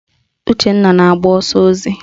Uchenna na-agba ọsọ ozi